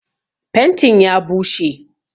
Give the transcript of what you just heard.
Fentin ya bushe.